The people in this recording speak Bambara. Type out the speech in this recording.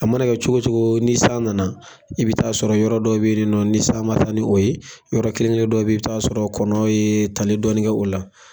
A mana kɛ cogo cogo ni san nana i bi taa sɔrɔ yɔrɔ dɔw be yeninɔ ni san ma taa ni o ye ,yɔrɔ kelen kelen dɔw be yen i b'i taa sɔrɔ kɔnɔw ye tali dɔɔni kɛ o la.